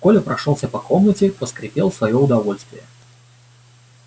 коля прошёлся по комнате поскрипел в своё удовольствие